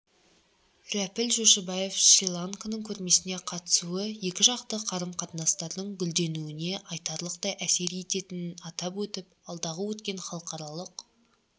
рәпіл жошыбаев шри-ланканың көрмесіне қатысуы екіжақты қарым-қатынастардың гүлденуіне айтарлықтай әсер ететінін атап өтті алдағы өткен халықаралық